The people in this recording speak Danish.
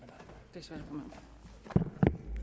ved